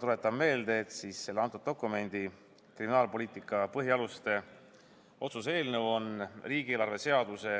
Tuletan meelde, et selle dokumendi, kriminaalpoliitika põhialuste otsuse eelnõu on riigieelarve seaduse